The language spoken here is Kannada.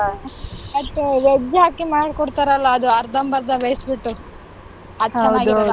ಮತ್ತೆ veg ಹಾಕಿ ಮಾಡಿಕೊಡ್ತಾರಲ್ಲ ಅದು ಅರ್ಧಂ ಬರ್ದ ಬೇಯಿಸ್ಬಿಟ್ಟು ಅದ್ ಚೆನ್ನಾಗಿರಲ್ಲ.